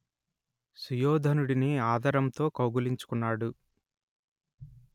సుయోధనుడిని ఆదరంతో కౌగలించుకున్నాడు